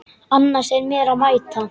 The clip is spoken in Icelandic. Annars er mér að mæta.